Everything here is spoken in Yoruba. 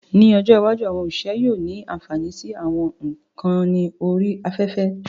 Ní ọjọ́ iwájú, àwọn òṣìṣẹ́ yóò ní ànfàní sí àwọn ìkànnì orí afẹ́fẹ́